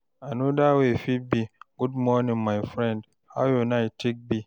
anoda way fit be "good morning my friend, how yur night take be?"